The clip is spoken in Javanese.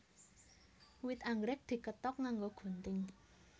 Wit anggrèk dikethok nganggo gunting